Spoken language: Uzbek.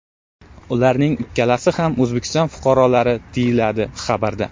Ularning ikkalasi ham O‘zbekiston fuqarolari”, deyiladi xabarda.